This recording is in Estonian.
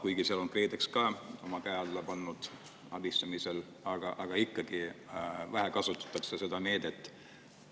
Kuigi seal on ka KredEx abistamisel oma käe alla pannud, kasutatakse seda meedet ikkagi vähe.